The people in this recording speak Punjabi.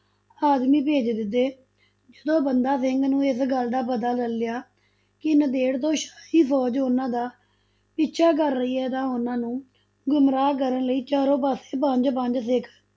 ਆਦਮੀ ਭੇਜ ਦਿੱਤੇ, ਜਦੋਂ ਬੰਦਾ ਸਿੰਘ ਨੂੰ ਇਸ ਗੱਲ ਦਾ ਪਤਾ ਚੱਲਿਆ ਕਿ ਨੰਦੇੜ ਤੋਂ ਸ਼ਾਹੀ ਫੋਜ਼ ਉਨਾਂ ਦਾ ਪਿੱਛਾ ਕਰ ਰਹੀ ਹੈ, ਤਾਂ ਉਨ੍ਹਾਂ ਨੂੰ ਗੁਮਰਾਹ ਕਰਨ ਲਈ ਚਾਰੋ ਪਾਸੇ ਪੰਜ ਪੰਜ ਸਿੱਖ